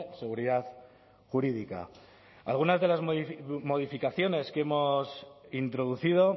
seguridad jurídica algunas de las modificaciones que hemos introducido